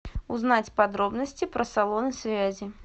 узнать подробности про салон связи